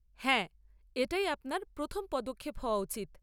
হ্যাঁ এটাই আপনার প্রথম পদক্ষেপ হওয়া উচিত।